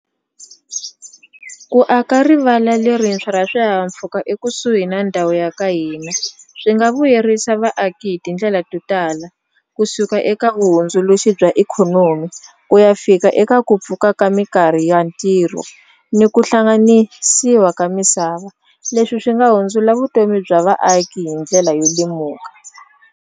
Ku aka rivala lerintshwa ra swihahampfhuka ekusuhi na ndhawu ya ka hina swi nga vuyerisa vaaki hi tindlela to tala kusuka eka vuhundzuluxi bya eka ikhonomi ku ya fika eka ku pfuka ka minkarhi ya ntirho ni ku hlanganisiwa ka misava leswi swi nga hundzula vutomi bya vaaki hi ndlela yo lemuka.